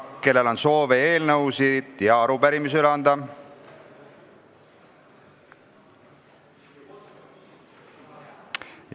Kellel on soovi eelnõusid või arupärimisi üle anda?